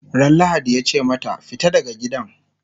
Ran lahadi yace mata"fita daga gidan!"